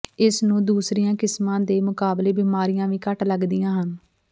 ਇਸ ਨੂੰ ਦੂਸਰੀਆਂ ਕਿਸਮਾਂ ਦੇ ਮੁਕਾਬਲੇ ਬਿਮਾਰੀਆਂ ਵੀ ਘੱਟ ਲੱਗਦੀਆਂ ਹਨ